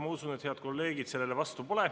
Ma usun, et head kolleegid pole selle vastu.